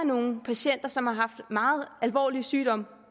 nogle patienter som har haft meget alvorlig sygdom